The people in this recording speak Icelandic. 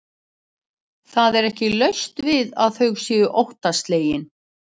Hann setti hendina upp og þetta voru viðbrögð mín.